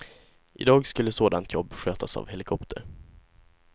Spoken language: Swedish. Idag skulle sådant jobb skötas av helikopter.